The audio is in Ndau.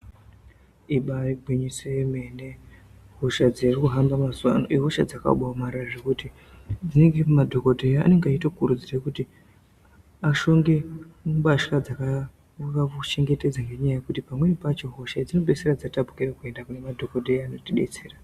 Ibari gwinyiso yemene hosha dziri kuhamba mazuwa ano ihosha dzakabaomarara zvekuti dzinenge madhokodheya anenge eitokurudzirw kuti ashonge mbasha dzakange kakuchengetedza ngekuti pamweni pacho hosha dzinopeisira dzatapukire kuenda pane madhokodheya anotidetsera.